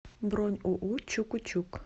бронь уу чуку чук